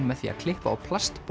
með því að klippa á